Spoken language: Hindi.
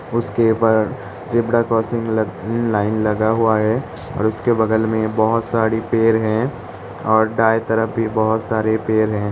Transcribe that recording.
उसके बाद जेबड़ा क्रोसिंग लग लाइन लगा हुआ है औड़ उसके बगल में बहोत साड़ी पेर हैं और दायें तरफ भी बहोत सारे पेर हैं।